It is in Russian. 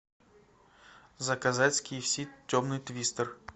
заказать с ки эф си темный твистер